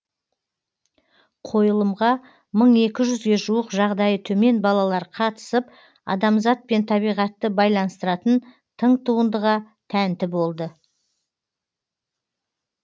қойылымға мың екі жүзге жуық жағдайы төмен балалар қатысып адамзат пен табиғатты байланыстыратын тың туындыға тәнті болды